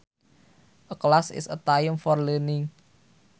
A class is a time for learning